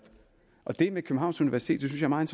og det med københavns universitet er meget